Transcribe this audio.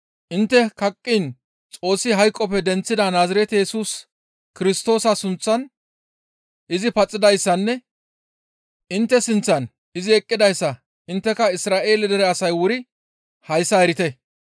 intte kaqqiin Xoossi hayqoppe denththida Naazirete Yesus Kirstoosa sunththan izi paxidayssanne intte sinththan izi eqqidayssa intteka Isra7eele dere asay wuri hayssa erite.